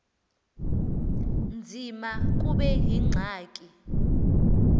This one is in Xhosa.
nzima kube yingxaki